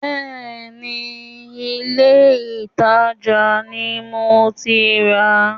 Bẹ́ẹ̀ni, ilé-ìtàjà ni mo ti rà á